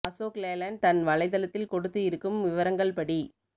Ashok Leyland தன் வலை தளத்தில் கொடுத்து இருக்கும் விவரங்கள் படி